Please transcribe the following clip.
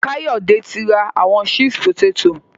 Kayode ti n ra awọn chips poteto.